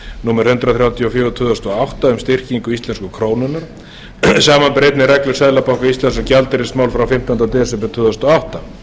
númer hundrað þrjátíu og fjögur tvö þúsund og átta um styrkingu íslensku krónunnar samanber einnig reglur seðlabanka íslands um gjaldeyrismál frá fimmtánda desember tvö þúsund og átta